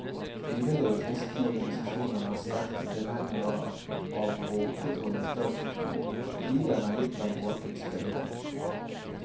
Frivillige kristne organisasjoner er sterke tilhengere av å opprettholde statskirken, fordi den har gitt dem åpent spillerom.